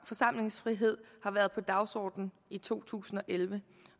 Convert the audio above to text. forsamlingsfrihed har været på dagsordenen i to tusind og elleve